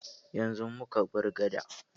Yanzu muka bar gadan.